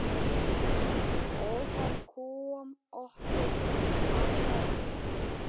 Ófærð kom okkur á kortið.